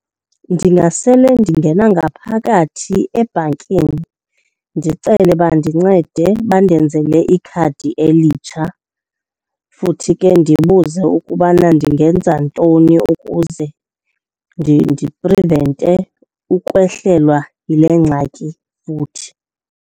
Ndingasele ndingena ngaphakathi ebhankeni ndicele bandincede bandenzele ikhadi elitsha. Futhi ke ndibuze ukubana ndingenza ntoni ukuze ndiprivente ukwehlelwa yile ngxaki futhi.